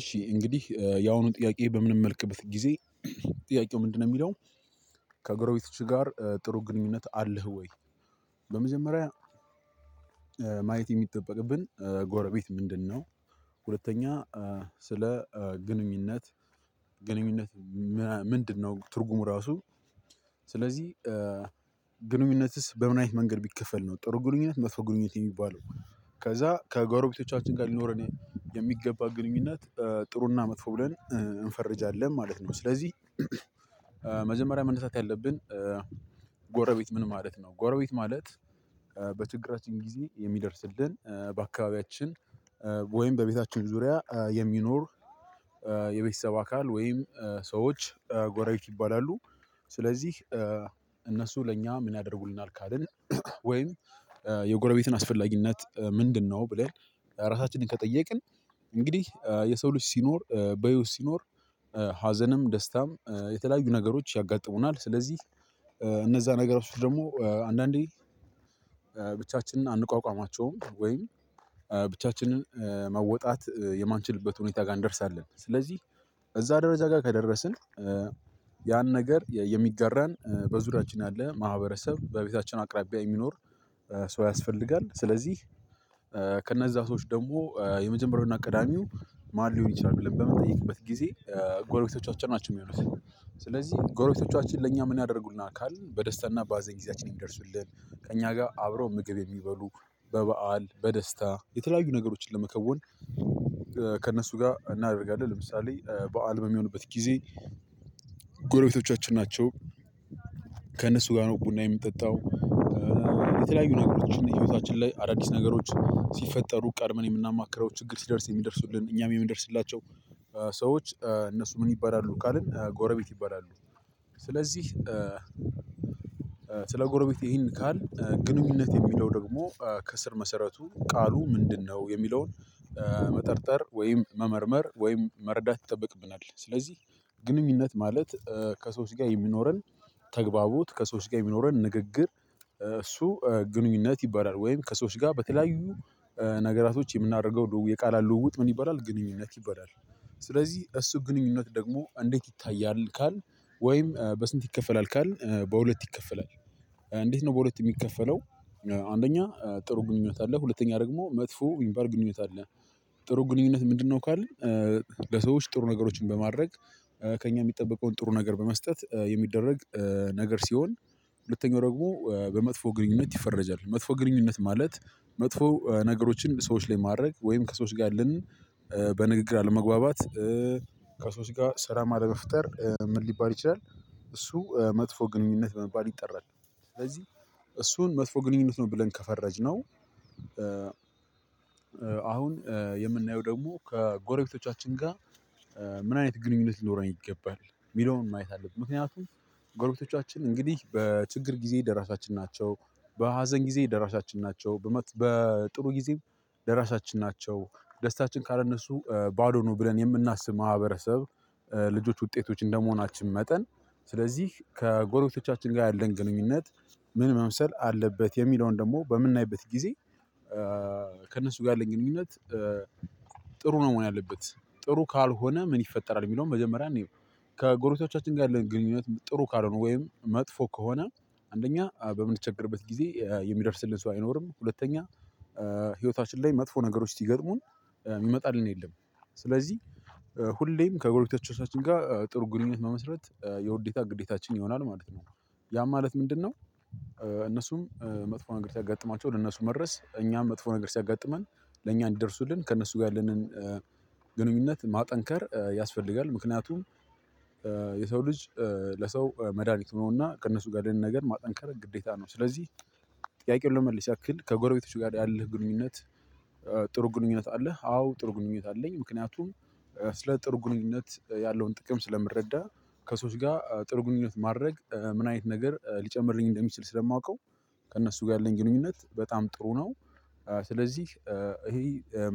እሺ እንግዲህ ያሁኑን ጥያቄ በምንመለከትበት ጊዜ ጥያቄው ምንድነው የሚለው? ከጎሮቤቶችህ ጋር ጥሩ ግንኙነት አለህ ወይ? በመጀመሪያ ማየት የሚጠበቅብን ጎረቤት ምንድነው? ሁለተኛ ስለ ግንኙነት ምንድነው ትርጉሙ ራሱ? ስለዚህ ግንኙነትስ በምን አይነት መንገድ ቢከፈል ነው ጥሩ ግንኙነት መጥፎ ግንኙነት የሚባለው። ከዛ ከጎሮቤቶቻችን ጋር ሊኖረን የሚገባ ግንኙነት ጥሩና መጥፎ ብለን እንፈርጃለን ማለት ነው። ስለዚህ መጀመሪያ መነሳት ያለብን ጎረቤት ምን ማለት ነው? ጎረቤት ማለት። በችግራችን ጊዜ የሚደርስልን በአካባቢያችን ወይም በቤታችን ዙሪያ የሚኖር። የቤተሰብ አካል ወይም ሰዎች ጎረቤት ይባላሉ። ስለዚህ እነሱ ለእኛ ምን ያደርጉልናል ካልን? ወይም የጎረቤትን አስፈላጊነት ምንድነው? ብለን ራሳችንን ከጠየቅን። እንግዲህ የሰው ልጅ ሲኖር በህይወት ሲኖር ሀዘንም ደስታም የተለያዩ ነገሮች ያጋጥሙናል። ስለዚህ እነዛ ነገራቶች ደግሞ አንዳንዴ ብቻችንን አንቋቋማቸውም። ወይም ብቻችንን መወጣት የማንችልበት ሁኔታ ጋር እንደርሳለን። ስለዚህ እዛ ደረጃ ጋር ከደረስን ያን ነገር የሚጋራን በዙሪያችን ያለ ማህበረሰብ በቤታችን አቅራቢያ የሚኖር ሰው ያስፈልጋል። ስለዚህ ከነዛ ሰዎች ደግሞ የመጀመሪያውና ቀዳሜው ማን ሊሆን ይችላል ብለን በምንጠይቅበት ጊዜ ጎረቤቶቻችን ናቸው የሚሆኑት። ስለዚህ ጎረቤቶቻችን ለእኛ ምን ያደርጉልናል አካል በደስታና በሃዘን ጊዜያችን የሚደርሱልን። ከእኛ ጋር አብረው ምግብ የሚበሉ በበዓል በደስታ የተለያዩ ነገሮችን ለመከወን። ከእነሱ ጋር እናደርጋለን ለምሳሌ በዓል በሚሆንበት ጊዜ ጎረቤቶቻችን ናቸው። ከእነሱ ጋር ነው ቡና የምንጠጣው። የተለያዩ ነገሮችን ህይወታችን ላይ አዳዲስ ነገሮች ሲፈጠሩ ቀድመን የምናማክረው ችግር ሲደርስብን የሚደርሱልን እኛም የምንደርስላቸው። ሰዎች እነሱ ምን ይባላሉ ካልን ጎረቤት ይባላሉ። ስለዚህ ስለ ጎረቤት ይሄን ካልን ግንኙነት የሚለው ደግሞ ከስር መሰረቱ ቃሉ ምንድነው የሚለውን? መጠርጠር ወይም መመርመር ወይም መረዳት ይጠበቅብናል። ስለዚህ ግንኙነት ማለት ከሰዎች ጋር የሚኖረን ተግባቦት ከሰዎች ጋር የሚኖረን ንግግር። እሱ ግንኙነት ይባላል። ወይም ከሰዎች ጋር በተለያዩ ነገራቶች የምናደርገው የቃላት ልውውጥ ምን ይባላል ግንኙነት ይበላል። ስለዚህ እሱ ግንኙነት ደግሞ እንዴት ይታያል? ካልን ወይም በስንት ይከፈላል ካልን በሁለት ይከፈላል። እንዴት ነው በሁለት የሚከፈለው? አንደኛ ጥሩ ግንኙነት አለ ሁለተኛ ደግሞ መጥፎ የሚባል ግንኙነት አለ። ጥሩ ግንኙነት ምንድነው ካልን? ለሰዎች ጥሩ ነገሮችን በማድረግ ከእኛ የሚጠበቀውን ጥሩ ነገር በመስጠት የሚደረግ ነገር ሲሆን። ሁለተኛው ደግሞ በመጥፎ ግንኙነት ይፈረጃል መጥፎ ግንኙነት ማለት መጥፎ ነገሮችን ሰዎች ላይ ማድረግ ወይም ከሰዎች ጋር ያለንን በንግግር አለመግባባት። ከሰዎች ጋር ሰላም አለመፍጠር ምን ሊባል ይችላል? እሱ መጥፎ ግንኙነት በመባል ይጠራል። ስለዚህ እሱን መጥፎ ግንኙነት ነው ብለን ከፈረጅነው። አሁን የምናየው ደግሞ ከጎረቤቶቻችን ጋር። ምን አይነት ግንኙነት ሊኖረኝ ይገባል የሚለውን ማየት አለብን። ምክንያቱም ጎረቤቶቻችን እንግዲህ በችግር ጊዜ ደራሻችን ናቸው። በሀዘን ጊዜ ደራሻችን ናቸው በጥሩ ጊዜም ደራሻችን ናቸው። ደስታችን ካልነሱ ባዶ ነው ብለን የምናስብ ማህበረሰብ። ልጆች ውጤቶች እንደመሆናችን መጠን ስለዚህ ከጎረቤቶቻችን ጋር ያለን ግንኙነት ምን መምሰል አለበት የሚለውን ደግሞ በምናይበት ጊዜ። ከእነሱ ጋር ያለኝ ግንኙነት ጥሩ ነው መሆን ያለበት። ጥሩ ካልሆነ ምን ይፈጠራል የሚለውን መጀመሪያ እንይ። ከጎረቤቶቻችን ጋር ያለን ግንኙነት ጥሩ ካልሆነ ወይም መጥፎ ከሆነ። አንደኛ በምንቸገርበት ጊዜ የሚደርስልን ሰው አይኖርም። ሁለተኛ ህይወታችን ላይ መጥፎ ነገሮች ሲገጥሙን ሚመጣልን የለም። ስለዚህ ሁሌም ከጎርቤቶቻችን ጋር ጥሩ ግንኙነት መመስረት የውዴታ ግዴታችን ይሆናል ማለት ነው። ያ ማለት ምንድነው? እነሱም መጥፎ ነገር ሲያጋጥማቸው ለነሱ መድረስ እኛም መጥፎ ነገር ሲያጋጥመን ለእኛ እንዲደርሱልን ከእነሱ ጋር ያለንን ግንኙነት ማጠንከር ያስፈልጋል። ምክንያቱም የሰው ልጅ ለሰው መድሃኒት ሆኖና ከእነሱ ጋር ያለንን ነገር ማጠንከር ግዴታ ነው። ስለዚህ ጥያቄውን ለመመለስ ያክል ከጎረቤቶች ጋር ያለህ ግንኙነት። ጥሩ ግንኙነት አለህ? አዎ ጥሩ ግንኙነት አለኝ። ምክንያቱም ስለ ጥሩ ግንኙነት ያለውን ጥቅም ስለምረዳ። ከሰዎች ጋር ጥሩ ግንኙነት ማድረግ ምን አይነት ነገር ሊጨምርልኝ እንደሚችል ስለማውቀው። ከእነሱ ጋር ያለኝ ግንኙነት በጣም ጥሩ ነው። ስለዚህ ይሄ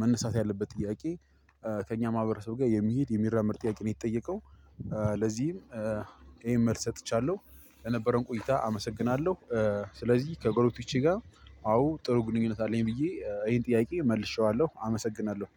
መነሳት ያለበት ጥያቄ። ከእኛ ማህበረሰብ ጋር የሚሄድ የሚራመድ ጥያቄ ነው የተጠየቀው። ለዚህም ይሄን መልስ ሰጥቻለሁ። የነበረውን ቆይታ አመሰግናለሁ ስለዚህ ከጎረቤቶቼ ጋር አዎ ጥሩ ግንኙነት አለኝ ብዬ ይሄን ጥያቄ መልሼዋለሁ አመሰግናለሁ።